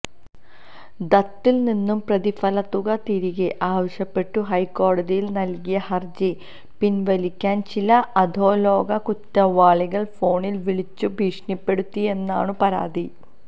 ദത്തിൽനിന്നു പ്രതിഫലത്തുക തിരികെ ആവശ്യപ്പെട്ടു ഹൈക്കോടതിയിൽ നൽകിയ ഹർജി പിൻവലിക്കാൻ ചില അധോലോക കുറ്റവാളികൾ ഫോണിൽ വിളിച്ചു ഭീഷണിപ്പെടുത്തിയെന്നാണു പരാതി